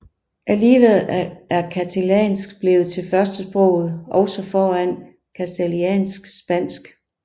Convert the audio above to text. Alligevel er catalansk blevet til førstesproget også foran castiliansk spansk